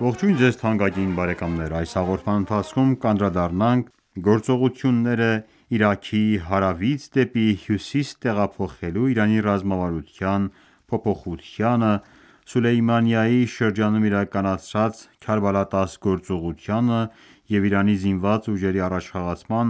Ողջույն ձեզ թանկագին բարեկամներ: Այս հաղորդման ընթացքում կանդրադառնանք գործողությունները Իրաքի հարավից դեպի հյուսիս տեղափոխելու Իրանի ռազմավարության փոփոխությանը, Սուլեյմանիայի շրջանում իրականացված Քարբալա 10 գործողությանը և Իրանի զինված ուժերի առաջխաղացման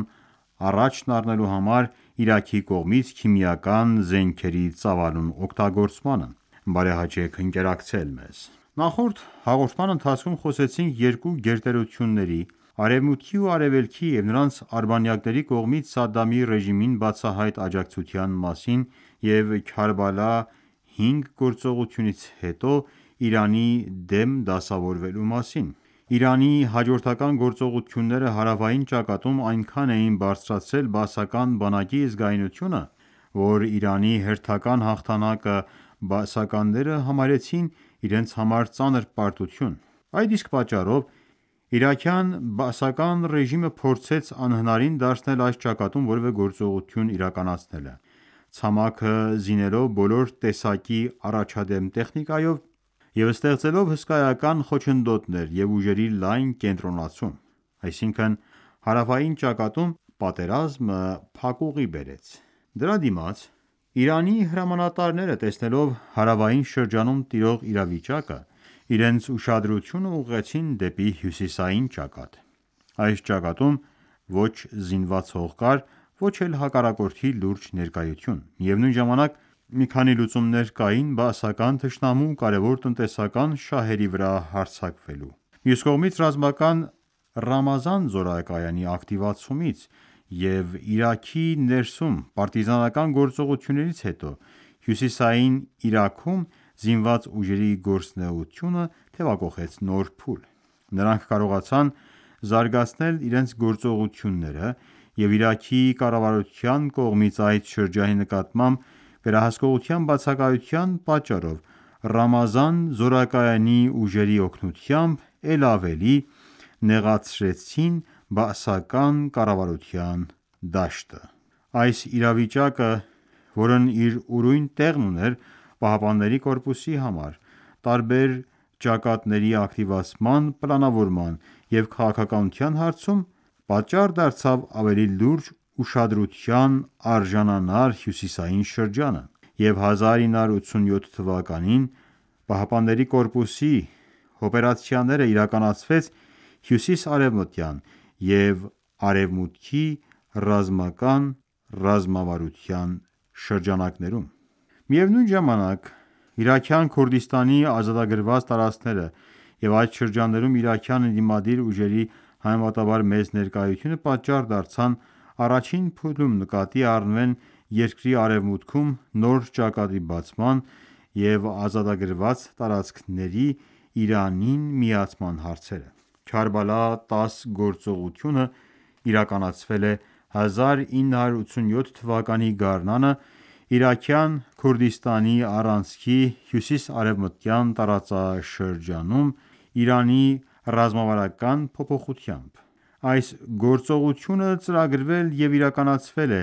առաջն առնելու համար Իրաքի կողմից քիմիական զենքերի ծավալուն օգտագործմանը:Ընկերակցեք մեզ: Նախորդ հաղորդման ընթացքում խոսեցինք երկու գերտերությունների՝ Արևմուտքի և Արևելքի, և նրանց արբանյակների կողմից Սադամի ռեժիմին բացահայտ աջակցության մասին և Քարբալա Փանջի գործողությունից հետո ԻԻՀ-ի դեմ դասավորվելու մասին։ Իրանի հաջորդական գործողությունները հարավային ճակատում այնքան էին բարձրացրել Բաասական բանակի զգայունությունը, որ Իրանի հերթական հաղթանակը բաասականները համարեցին իրենց համար ծանր պարտություն։ Այդ իսկ պատճառով, իրաքյան Բաասի ռեժիմը փորձեց անհնարին դարձնել այս ճակատում որևէ գործողություն իրականացնելը՝ ցամաքը զինելով բոլոր տեսակի առաջադեմ տեխնիկայով և ստեղծելով հսկայական խոչընդոտներ և ուժերի լայն կենտրոնացում։ Այսինքն՝ հարավային ճակատում պատերազմը փակուղի բերեց։ Դրա դիմաց, Իրանի հրամանատարները, տեսնելով հարավային շրջանում տիրող իրավիճակը, իրենց ուշադրությունը ուղղեցին դեպի հյուսիսային ճակատ։ Այս ճակատում ոչ զինված հող կար, ոչ էլ հակառակորդի լուրջ ներկայություն։ Միևնույն ժամանակ, մի քանի լուծումներ կային բաասական թշնամու կարևոր տնտեսական շահերի վրա հարձակվելու համար։ Մյուս կողմից Ռամազան զորակայանի ակտիվացումից և Իրաքի ներսում պարտիզանական գործողություններից հետո Հյուսիսային Իրաքում զինված ուժերի գործունեությունը թեւակոխեց նոր փուլ։ Նրանք կարողացան զարգացնել իրենց գործողությունները և Իրաքի կառավարության կողմից այդ շրջանի նկատմամբ վերահսկողության բացակայության պատճառով Ռամազան զորակայանի ուժերի օգնությամբ էլ ավելի նեղացրեցին բաասական կառավարության դաշտը։ Այս իրավիճակը, որն իր ուրույն տեղն ուներ ԻՀՊԿ-ի համար՝ տարբեր ճակատների ակտիվացման պլանավորման և քաղաքականության հարցում, պատառ դարձավ ավելի լուրջ ուշադրության արժանանար հյուսիսային շրջանը, և 1987թ. ԻՀՊԿ-ի օպերացիաները իրականացվեց Հյուսիսարևմտյան և Արևմուտքի ռազմական ռազմավարության շրջանակներում: Միևնույն ժամանակ, Իրաքյան Քուրդիստանի ազատագրված տարածքները և այդ շրջաններում իրաքյան ընդդիմադիր ուժերի համեմատաբար մեծ ներկայությունը պատճառ դարձան առաջին փուլում նկատի առնվեն երկրի արևմուտքում նոր ճակատի բացման, և ազատագրված տարածքների Իրանին միացման հարցերը: «Քարբալա 10» գործողությունն իրականացվել է 1987 թվականի գարնանը Իրաքյան Քուրդիստանի առանցքի հյուսիսարևմտյան տարածաշրջանում Իրանի ռազմավարության փոփոխությամբ։ Այս գործողությունը ծրագրվել և իրականացվել է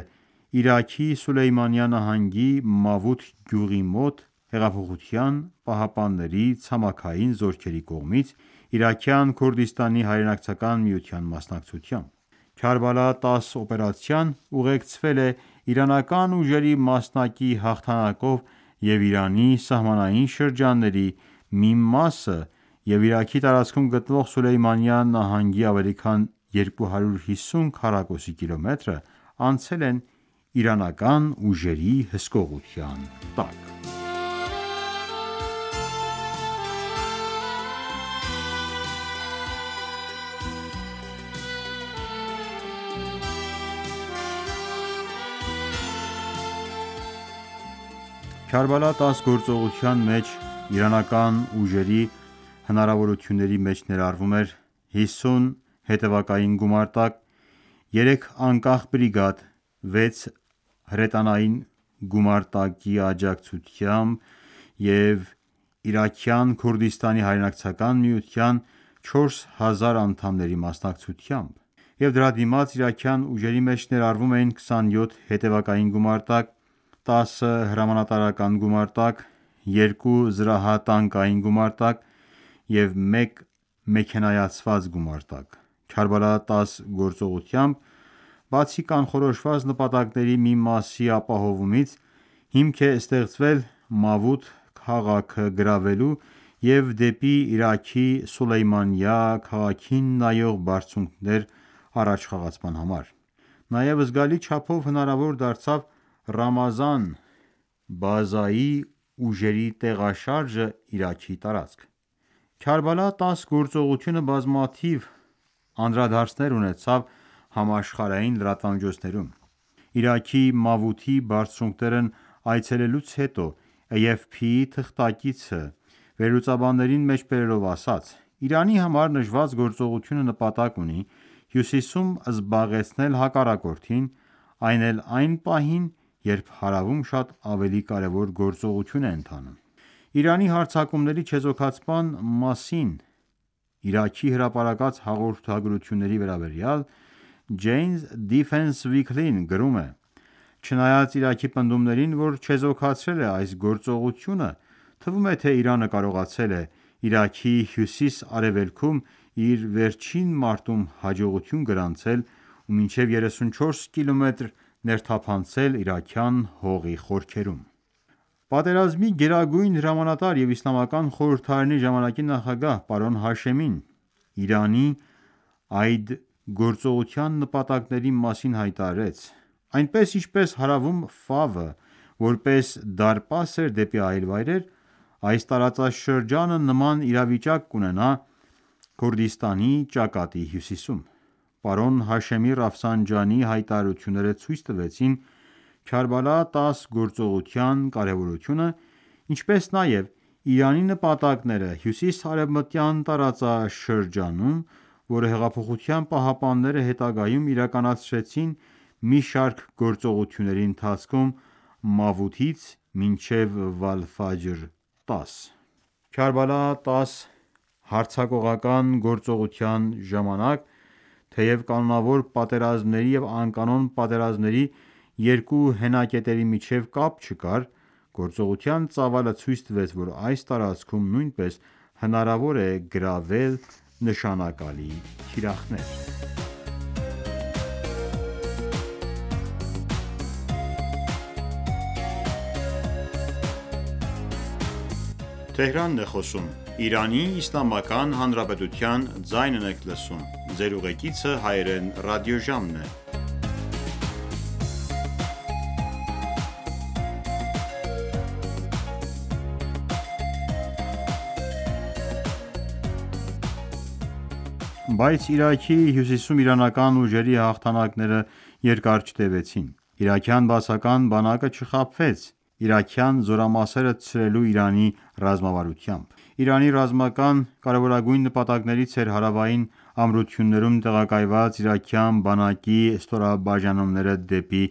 Իրաքի Սուլեյմանիա նահանգի Մավութ գյուղի մոտ՝ Հեղափոխության պահապանների ցամաքային զորքերի կողմից՝ Իրաքյան Քուրդիստանի հայրենակցական միության մասնակցությամբ։ Քարբալա 10 օպերացիան ուղեկցվել է իրանական ուժերի մասնակի հաղթանակով, և Իրանի սահմանային շրջանների մի մասը և Իրաքի տարածքում գտնվող Սուլեյմանիա նահանգի ավելի քան 250 քառակուսի կիլոմետրը անցել են իրանական ուժերի հսկողության տակ։ Քարբալա 10 օպերատիվ տարածքի քարտեզը Քարբալա 10 գործողության մեջ իրանական ուժերի հնարավորությունների մեջ ներառվում էր՝ 50 հետևակային գումարտակ, 3 անկախ բրիգադ, 6 հրետանային գումարտակի աջակցությամբ և Իրաքյան Քուրդիստանի հայրենակցական միության 4000 անդամների մասնակցությամբ և դրա դիմաց իրաքյան ուժերի մեջ ներառվում էին 27 հետևակային գումարտակ, 10 հրամանատարական գումարտակ, 2 զրահատանկային գումարտակ և 1 մեքենայացված գումարտակ։ «Քարբալա 10» գործողությամբ, բացի կանխորոշված ​​նպատակների մի մասի ապահովումից, հիմք է ստեղծվել Մավութ քաղաքը գրավելու և դեպի Իրաքի Սուլեյմանիա քաղաքին նայող բարձունքներ առաջխաղացման համար: Նաև զգալի չափով հնարավոր դարձավ Ռամազան բազայի ուժերի տեղաշարժը Իրաքի տարածք։ Քարբալա 10 գործողությունը բազմաթիվ անդրադարձներ ունեցավ համաշխարհային լրատվամիջոցներում։ Իրաքի Մավութի բարձունքներն այցելելուց հետո AFP-ի թղթակիցը վերլուծաբաններին մեջբերելով ասաց.«Իրանի համար նշված գործողությունը նպատակ ունի հյուսիսում զբաղեցնել հակառակորդին, այն էլ այն ​​պահին, երբ հարավում շատ ավելի կարևոր գործողություն է ընթանում»: Իրանի հարձակումների չեզոքացման մասին Իրաքի հրապարակած հաղորդագրությունների վերաբերյալ Jane's Defence Weekly-ն գրում է. «Չնայած Իրաքի պնդումներին, որ չեզոքացրել է այս գործողությունը, թվում է, թե Իրանը կարողացել է Իրաքի հյուսիս-արևելքում՝ իր վերջին մարտում հաջողություն գրանցել ու մինչև երեսունչորս կիլոմետր ներթափանցել իրաքյան հողի խորքերում»: Պատերազմի գերագույն հրամանատար և Իսլամական խորհրդարանի ժամանակի նախագահ պարոն Հաշեմին ԻԻՀ-ի այդ գործողության նպատակների մասին հայտարարեց.«Այնպես ինչպես հարավում Ֆավը որպես դարպաս էր դեպի այլ վայրեր, այս տարածաշրջանը նման իրավիճակ կունենա Քուրդիստանի ճակատի հյուսիսում»։ Պարոն Հաշեմի Ռաֆսանջանիի հայտարարությունները ցույց տվեցին Քարբալա 10 գործողության կարևորությունը, ինչպես նաև Իրանի նպատակները հյուսիս-արևմտյան տարածաշրջանում, որը Հեղափոխության պահապանները հետագայում իրականացրեցին մի շարք գործողությունների ընթացքում՝ Մավութից մինչև Վալ-Ֆաջր 10: Քարբալա 10 հարձակողական գործողության ժամանակ, թեև կանոնավոր պատերազմների և անկանոն պատերազմների երկու հենակետերի միջև կապ չկար, գործողության ծավալը ցույց տվեց, որ այս տարածքում նույնպես հնարավոր է գրավել նշանակալի թիրախներ։ Բայց Իրաքի հյուսիսում իրանական ուժերի հաղթանակները երկար չտեւեցին, իրաքյան բաասական բանակը չխաբվեց իրաքյան զորամասերը ցրելու Իրանի ռազմավարությամբ։ Իրանի ռազմական կարևորագույն նպատակներից էր հարավային ամրություններում տեղակայված իրաքյան բանակի ստորաբաժանումները դեպի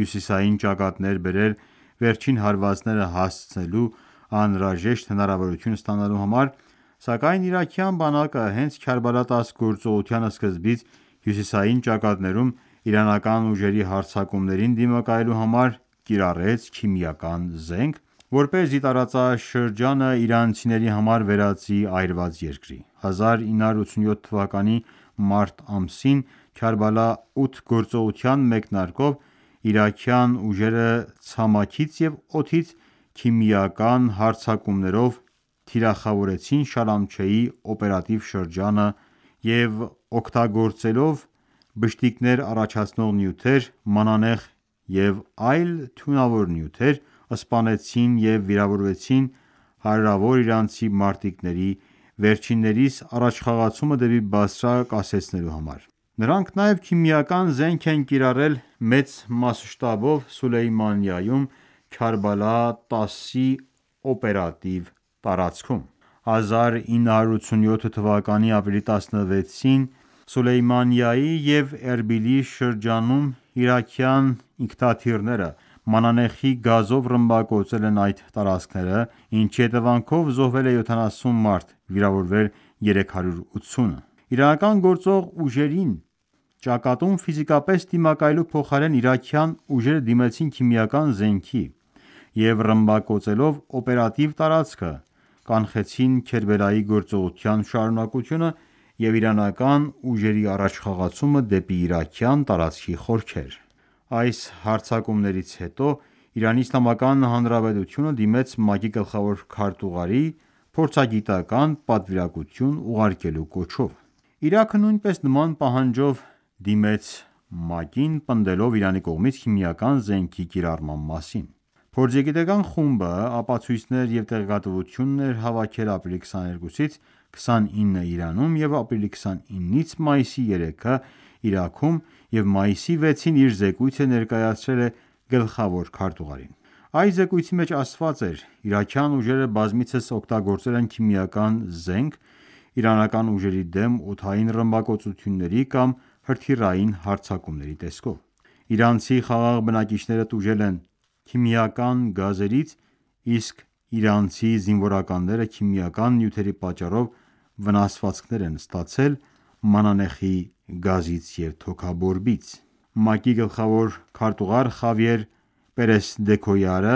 հյուսիսային ճակատներ բերել՝ վերջին հարվածները հասցնելու անհրաժեշտ հնարավորություն ստանալու համար, սակայն իրաքյան բանակը հենց Քարբալա 10 գործողության սկզբից, հյուսիսային ճակատներում իրանական ուժերի հարձակումներին դիմակայելու համար կիրառեց քիմիական զենք, որպեսզի տարածաշրջանը իրանցիների համար վերածի այրված երկրի: 1987 թվականի մարտին Քարբալա 8 գործողության մեկնարկով իրաքյան ուժերը ցամաքից և օդից քիմիական հարձակումներով թիրախավորեցին Շալամչեի օպերատիվ շրջանը և օգտագործելով բշտիկներ առաջացնող նյութեր, մանանեխ և այլ թունավոր նյութեր, սպանեցին և վիրավորեցին հարյուրավոր իրանցի մարտիկների՝ վերջիններիս առաջխաղացումը դեպի Բասրա կասեցնելու համար: Նրանք նաև քիմիական զենք են կիրառել մեծ մասշտաբով Սուլեյմանիայում Քարբալա 10-ի օպերատիվ տարածքում։ 1987 թվականի ապրիլի 16-ին Սուլեյմանիայի և Էրբիլի շրջանում իրաքյան ինքնաթիռները մանանեխի գազով ռմբակոծել են այդ տարածքները, ինչի հետևանքով զոհվել է 70 մարդ, վիրավորվել՝ 380-ը։ Իրանական գործող ուժերին ճակատում ֆիզիկապես դիմակայելու փոխարեն իրաքյան ուժերը դիմեցին քիմիական զենքի և ռմբակոծելով օպերատիվ տարածքը՝ կանխեցին Քերբալայի գործողության շարունակությունը և իրանական ուժերի առաջխաղացումը դեպի իրաքյան տարածքի խորքեր։ Այս հարձակումներից հետո Իրանի Իսլամական Հանրապետությունը դիմեց ՄԱԿ-ի գլխավոր քարտուղարին փորձագիտական ​​պատվիրակություն ուղարկելու կոչով: Իրաքը նույնպես նման պահանջով դիմեց ՄԱԿ-ին՝ պնդելով Իրանի կողմից քիմիական զենքի կիրառման մասին։ Փորձագիտական ​​խումբը ապացույցներ և տեղեկատվություն է հավաքել ապրիլի 22-ից 29-ը Իրանում և ապրիլի 29-ից մայիսի 3-ը Իրաքում և մայիսի 6-ին իր զեկույցը ներկայացրել է գլխավոր քարտուղարին: Այս զեկույցի մեջ ասված էր.«Իրաքյան ուժերը բազմիցս օգտագործել են քիմիական զենք իրանական ուժերի դեմ օդային ռմբակոծությունների կամ հրթիռային հարձակումների տեսքով: Իրանցի խաղաղ բնակիչները տուժել են քիմիական գազերից, իսկ իրանցի զինվորականները քիմիական նյութերի պատճառով վնասվածքներ են ստացել մանանեխի գազից և թոքաբորբից»: ՄԱԿ-ի գլխավոր քարտուղար Խավիեր Պերես դե Քույարը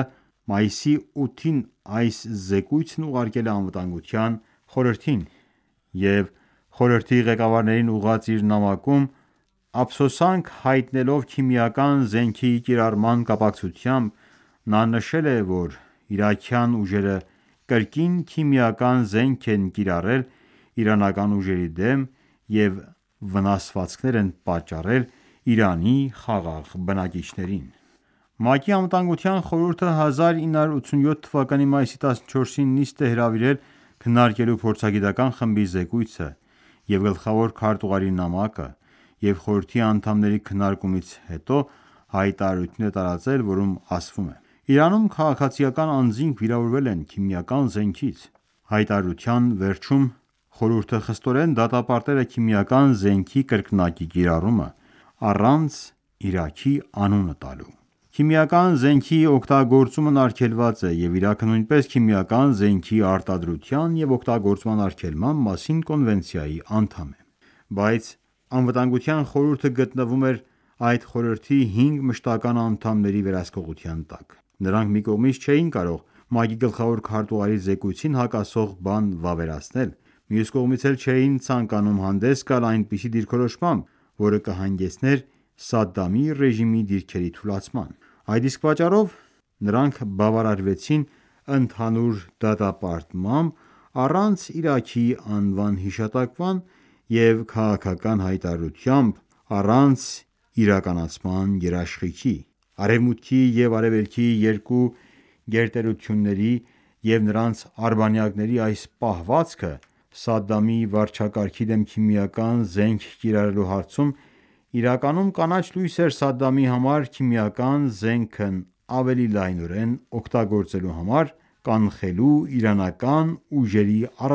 մայիսի 8-ին այս զեկույցն ուղարկել է ԱԽ-ին և խորհրդի ղեկավարին ուղղված իր նամակում, ափսոսանք հայտնելով քիմիական զենքի կիրառման կապակցությամբ, նա նշել է, որ իրաքյան ուժերը Կրկին քիմիական զենք են կիրառել իրանական ուժերի դեմ և վնասվածքներ են պատճառել ԻԻՀ-ի խաղաղ բնակիչներին: ՄԱԿ-ի ԱԽ-ն 1987 թվականի մայիսի 14-ին նիստ է հրավիրել՝ քննարկելու փորձագիտական ​​խմբի զեկույցը և գլխավոր քարտուղարի նամակը, և խորհրդի անդամների քննարկումներից հետո հայտարարություն է տարածվել, որում ասվում է. «Իրանում քաղաքացիական անձինք վիրավորվել են քիմիական զենքից»: Հայտարարության վերջում խորհուրդը խստորեն դատապարտել է քիմիական զենքի կրկնակի կիրառումը` առանց Իրաքի անունը տալու: Քիմիական զենքի օգտագործումն արգելված է, և Իրաքը նույնպես Քիմիական զենքի արտադրության և օգտագործման արգելման մասին կոնվենցիայի անդամ է։ Բայց ԱԽ-ն գտնվում էր այդ խորհրդի հինգ մշտական ​​անդամների վերահսկողության տակ։ Նրանք մի կողմից չէին կարող ՄԱԿ-ի գլխավոր քարտուղարի զեկույցին հակասող բան վավերացնել, մյուս կողմից էլ չէին ցանկանում հանդես գալ այնպիսի դիրքորոշմամբ, որը կհանգեցներ Սադամի ռեժիմի դիրքերի թուլացման։ Այդ իսկ պատճառով նրանք բավարարվեցին ընդհանուր դատապարտմամբ՝ առանց Իրաքի անվան հիշատակման և քաղաքական հայտարարությամբ՝ առանց իրականացման երաշխիքի։ Արևմուտքի և արևելքի երկու գերտերությունների և նրանց արբանյակների այս պահվածքը Սադամի վարչակարգի դեմ քիմիական զենք կիրառելու հարցում իրականում կանաչ լույս էր Սադամի համար քիմիական զենքն ավելի լայնորեն օգտագործելու համար՝ կանխելու իրանական ուժերի առաջխաղացումը մարտի դաշտում: